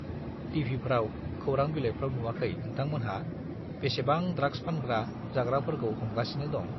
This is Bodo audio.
टिभिफ्राव, खौरां बिलाइफ्राव नुवाखै नोंथांमोनहा बेसेबां ड्राग्स फानग्रा, जाग्राफोरखौ हमगासिनो दं?